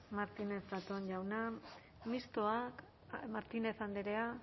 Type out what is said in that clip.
martínez zatón jauna mistoa martínez andrea